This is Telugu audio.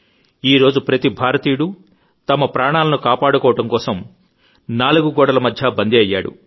ఈరోజు ప్రతి భారతీయుడు తమ ప్రాణాలను కాపాడుకోవడం కోసం నాలుగు గోడలమధ్య బందీ అయ్యాడు